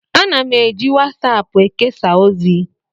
Ana m eji wasaapụ ekesa ozi.